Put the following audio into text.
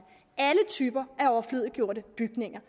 alle typer af overflødiggjorte bygninger